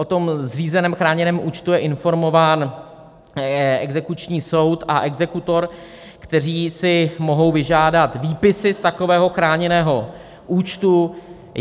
O tom zřízeném chráněném účtu je informován exekuční soud a exekutor, kteří si mohou vyžádat výpisy z takového chráněného účtu.